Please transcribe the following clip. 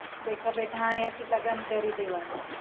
બેઠા બેઠા અહિયા થી લગન કરી દેવાના